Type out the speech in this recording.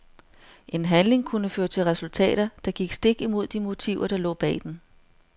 En handling kunne føre til resultater, der gik stik imod de motiver der lå bag den.